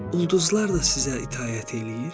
Ulduzlar da sizə itaət eləyir?